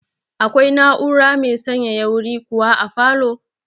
Akwai na'ura mai sanyaya wuri kuwa a falow?